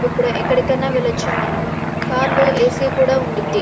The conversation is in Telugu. ఎక్కడికి ఆయన వెళ్ళవచ్చు మనం కార్ లో ఏ.సీ. ఉంటుంది.